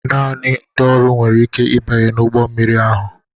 Naanị ndị ọrụ nwere ike ịbanye n'ụgbọ mmiri ahụ.